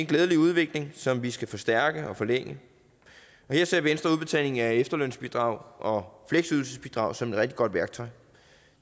glædelig udvikling som vi skal forstærke og forlænge her ser venstre udbetalingen af efterlønsbidrag og fleksydelsesbidrag som et rigtig godt værktøj